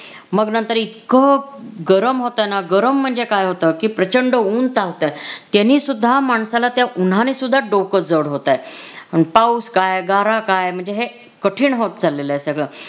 मग नंतर इतकं गरम होत न गरम म्हणजे काय होत कि प्रचंड ऊन चावतंय. त्यानेसुद्धा माणसाला त्या ऊन्हानेसुद्धा डोकं जड होतंय. पाऊस काय, गारा काय, म्हणजे हे कठीण होत चालेलय सगळं